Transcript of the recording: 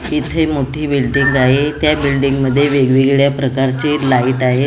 इथे मोठी बिल्डिंग आहे. त्या बिल्डिंग मध्ये वेगवेगळ्या प्रकारचे लाईट आहेत.